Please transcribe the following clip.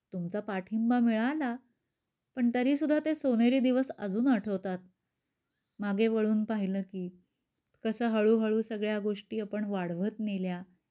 तुमचा पाठिंबा मिळाला पण तरी सुद्धा ते सोनेरी दिवस अजून आठवतात. मागे वळुन पाहिल की कस हळूहळू सगळ्या गोष्टी आपण वाढवत नेल्या.